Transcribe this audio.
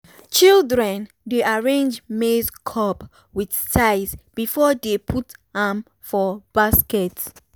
children dey arrange maize cob with size before dey put am for basket.